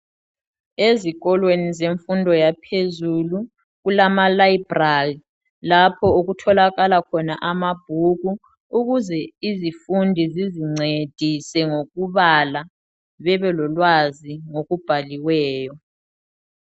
Ezikolweni zemfundo yaphezulu kulama library lapho okutholakala khona amabhuku ukuze izifundi zizincedise mgokubala bebelolwazi olubhaliweyo.